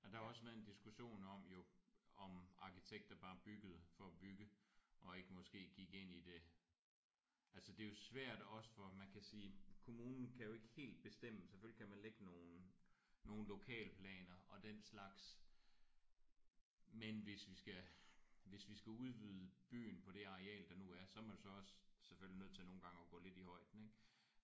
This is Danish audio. Og der har jo også været en diskussion om jo om arkitekter bare byggede for at bygge og ikke måske gik ind i det. Altså det er jo svært også for man kan sige kommunen kan jo ikke helt bestemme selvfølgelig kan man lægge nogle nogle lokalplaner og den slags. Men hvis vi skal hvis vi skal udvide byen på det areal der nu er så er man så også selvfølgelig nødt til nogle gange at gå lidt i højden ik?